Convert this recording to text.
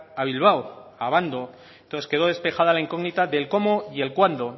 a bilbao a abando entonces quedó despejada la incógnita del cómo y el cuándo